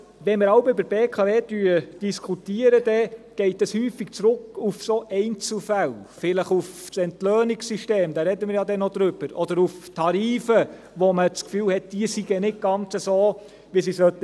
Wenn wir jeweils über die BKW diskutieren, geht das häufig zurück auf solche Einzelfälle, vielleicht auf das Entlöhnungssystem, darüber sprechen wir ja noch, oder auf die Tarife, von denen man das Gefühl hat, diese seien nicht ganz so, wie sie sein sollten.